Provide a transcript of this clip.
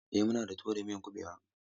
Eh, muna da tuwo da miyan kuɓewa.